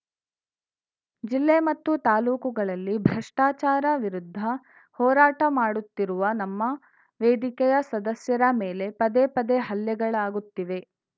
ಜಿಲ್ಲೆ ಮತ್ತು ತಾಲೂಕುಗಳಲ್ಲಿ ಭ್ರಷ್ಟಾಚಾರ ವಿರುದ್ದ ಹೋರಾಟ ಮಾಡುತ್ತಿರುವ ನಮ್ಮ ವೇದಿಕೆಯ ಸದಸ್ಯರ ಮೇಲೆ ಪದೇಪದೇ ಹಲ್ಲೆಗಳಾಗುತ್ತಿವೆ